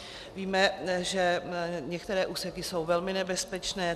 Víme, že některé úseky jsou velmi nebezpečné.